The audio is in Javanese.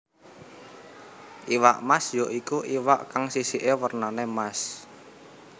Iwak Mas ya iku iwak kang sisiké wernanè Mas